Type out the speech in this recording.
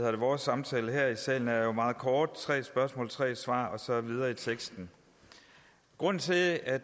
at vores samtale her i salen jo er meget kort tre spørgsmål tre svar og så videre i teksten grunden til at